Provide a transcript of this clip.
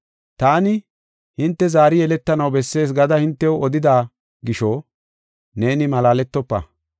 Taani, ‘Hinte zaari yeletanaw bessees’ gada hintew odida gisho neeni malaaletofa.